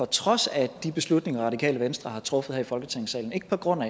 trods af de beslutninger radikale venstre har truffet her i folketingssalen ikke på grund af